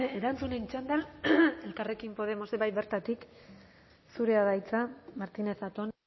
erantzunen txanda elkarrekin podemos bai bertatik zurea da hitza martínez zatón